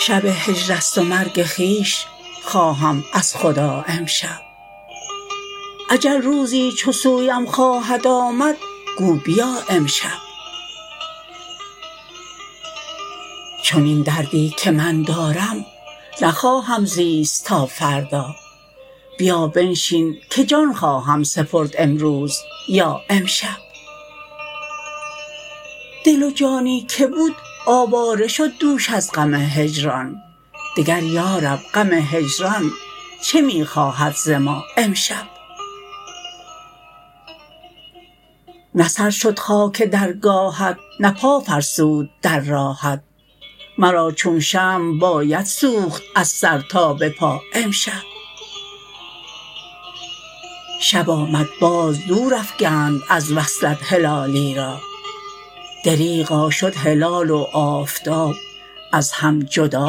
شب هجرست و مرگ خویش خواهم از خدا امشب اجل روزی چو سویم خواهد آمد گو بیا امشب چنین دردی که من دارم نخواهم زیست تا فردا بیا بنشین که جان خواهم سپرد امروز یا امشب دل و جانی که بود آواره شد دوش از غم هجران دگر یارب غم هجران چه میخواهد ز ما امشب نه سر شد خاک درگاهت نه پا فرسود در راهت مرا چون شمع باید سوخت از سر تا بپا امشب شب آمد باز دور افگند از وصلت هلالی را دریغا شد هلال و آفتاب از هم جدا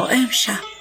امشب